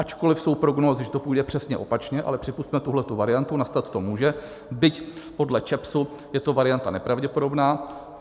Ačkoli jsou prognózy, že to půjde přesně opačně, ale připusťme tuhle variantu, nastat to může, byť podle ČEPS je to varianta nepravděpodobná.